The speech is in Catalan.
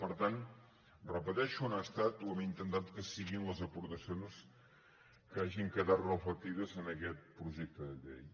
per tant ho repeteixo han estat o hem intentat que siguin les aportacions que hagin quedat reflectides en aquest projecte de llei